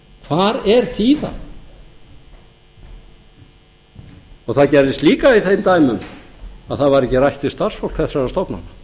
hvar er þíðan það gerðist líka í þeim dæmum að það var ekki rætt við starfsfólk þessara stofnana